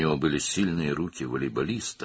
Onun voleybolçunun güclü əlləri vardı.